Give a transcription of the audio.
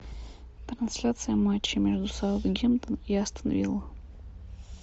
трансляция матча между саутгемптон и астон вилла